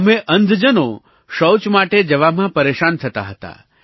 અમે અંધજનો શૌચ માટે જવામાં પરેશાન થતા હતા